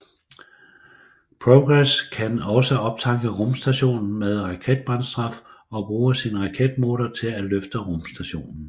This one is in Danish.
Progress kan også optanke rumstationen med raketbrændstof og bruge sin raketmotor til at løfte rumstationen